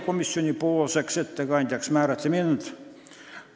Komisjoni ettekandjaks määrati mind.